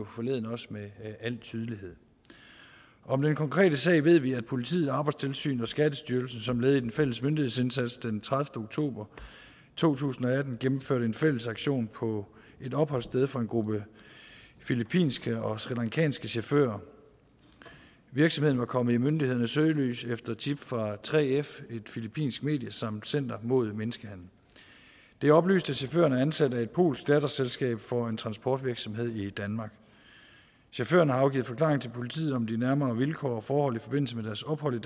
forleden jo også med al tydelighed om den konkrete sag ved vi at politiet arbejdstilsynet og skattestyrelsen som led i den fælles myndighedsindsats den tredivete oktober to tusind og atten gennemførte en fælles aktion på et opholdssted for en gruppe filippinske og srilankanske chauffører virksomheden var kommet i myndighedernes søgelys efter tip fra 3f et filippinsk medie samt center mod menneskehandel det er oplyst at chaufførerne er ansat af et polsk datterselskab for en transportvirksomhed i danmark chaufførerne har afgivet forklaring til politiet om de nærmere vilkår og forhold i forbindelse med deres ophold